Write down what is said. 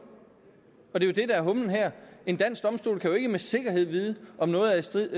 og det er jo det der er humlen her en dansk domstol kan ikke med sikkerhed vide om noget er i strid